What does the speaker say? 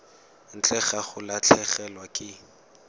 ntle ga go latlhegelwa ke